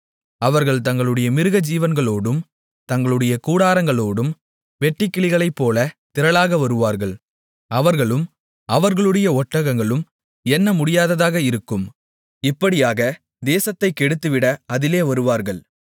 அவர்கள் தங்களுடைய மிருகஜீவன்களோடும் தங்களுடைய கூடாரங்களோடும் வெட்டுக்கிளிகளைப்போல திரளாக வருவார்கள் அவர்களும் அவர்களுடைய ஒட்டகங்களும் எண்ணமுடியாததாக இருக்கும் இப்படியாக தேசத்தைக் கெடுத்துவிட அதிலே வருவார்கள்